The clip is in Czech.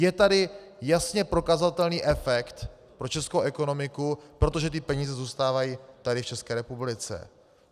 Je tady jasně prokazatelný efekt pro českou ekonomiku, protože ty peníze zůstávají tady v České republice.